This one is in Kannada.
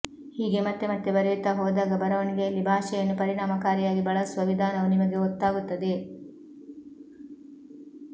ಹೀಗೆ ಮತ್ತೆ ಮತ್ತೆ ಬರೆಯುತ್ತಾ ಹೋದಾಗ ಬರೆವಣಿಗೆಯಲ್ಲಿ ಭಾಷೆಯನ್ನು ಪರಿಣಾಮಕಾರಿಯಾಗಿ ಬಳಸುವ ವಿಧಾನವು ನಿಮಗೆ ಗೊತ್ತಾಗುತ್ತದೆ